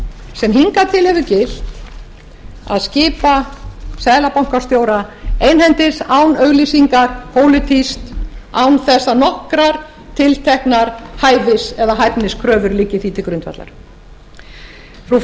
sem hingað til hefur gilt að skipa seðlabankastjóra einhendis án auglýsingar pólitískt án þess að nokkrar tilteknar hæfis eða hæfniskröfur liggi því til grundvallar frú